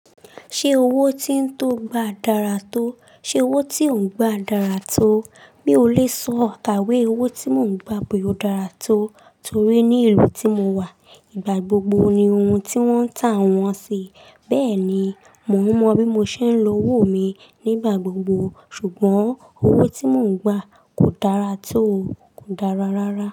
Ṣé owó tí ń tó gba dára tó, ṣe owó tí ò ń gba dára tó? Mi ò lè sọ, àtàwé owó tí mò ń gba pé ó dára tó, torí ní ìlú tí mo wà, ìgbà gbogbo ni ohun tí wọ́n ń tà wọ́n sì. Bẹ́ẹ̀ ni, mò ń mọ bí mo ṣe ń lo owó mi nígbà gbogbo. Ṣùgbọ́n owó tí mò ń gba kò dára tó, kò dára rárá.